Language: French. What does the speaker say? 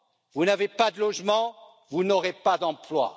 Vous n'avez pas de logement, vous n'aurez pas d'emploi.